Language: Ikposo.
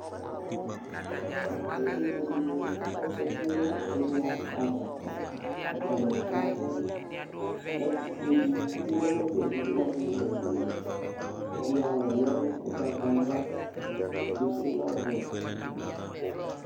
Evidze dɩnɩ azǝtɩ nʋ ɛlʋia ava Atanɩ abʋ Ɛkʋfue dɩ tsʋe nʋ efʋ yɛ bʋakʋ evidze wanɩ azǝtɩ yɛ Ɛdɩ awʋ lɛ ugbatawla, ɛdɩ sʋ lɛ ɔwɛ